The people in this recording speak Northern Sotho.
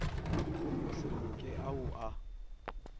go se loke ao a